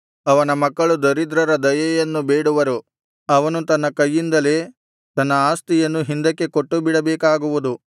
ಅವನ ಮಕ್ಕಳು ದರಿದ್ರರ ದಯೆಯನ್ನು ಬೇಡುವರು ಅವನು ತನ್ನ ಕೈಯಿಂದಲೇ ತನ್ನ ಆಸ್ತಿಯನ್ನು ಹಿಂದಕ್ಕೆ ಕೊಟ್ಟು ಬಿಡಬೇಕಾಗುವುದು